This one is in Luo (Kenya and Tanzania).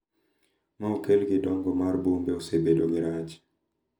Ma okel gi dongo mar bombe osebedo gi rach